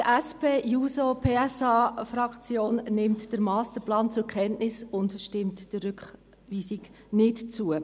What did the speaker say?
Die SP-JUSO-PSA-Fraktion nimmt den Masterplan zur Kenntnis und stimmt der Rückweisung nicht zu.